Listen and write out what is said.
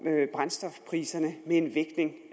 brændstofpriserne med en vægtning